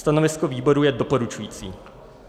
Stanovisko výboru je doporučující.